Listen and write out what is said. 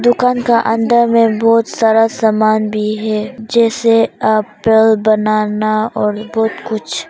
दुकान का अंदर में बहुत सारा सामान भी है जैसे एप्पल बनाना और बहुत कुछ--